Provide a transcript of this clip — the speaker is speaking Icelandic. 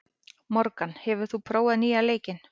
Morgan, hefur þú prófað nýja leikinn?